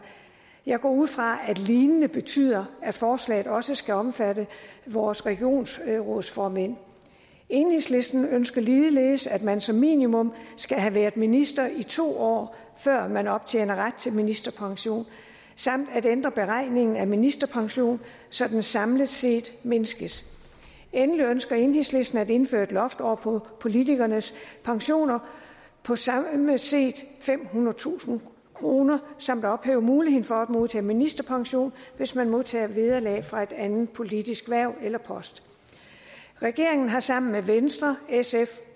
jeg går ud fra at lignende betyder at forslaget også skal omfatte vores regionsrådsformænd enhedslisten ønsker ligeledes at man som minimum skal have været minister i to år før man optjener ret til ministerpension samt at ændre beregningen af ministerpensionen så den samlet set mindskes endelig ønsker enhedslisten at indføre et loft over politikernes pensioner på samlet set femhundredetusind kroner samt ophæve muligheden for at modtage ministerpension hvis man modtager vederlag fra et andet politisk hverv eller post regeringen har sammen med venstre sf